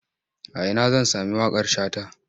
A ina zan sami waƙar Shata?